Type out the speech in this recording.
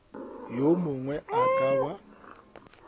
yo mongwe a ka ba